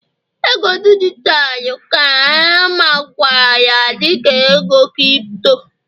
ego dijitalụ ka a makwaara dị ka ego Kripto